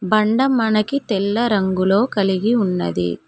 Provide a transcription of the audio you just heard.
బండ మనకి తెల్ల రంగులో కలిగి ఉన్నది.